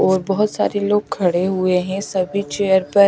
और बहोत सारे लोग खड़े हुए हैं सभी चेयर पर--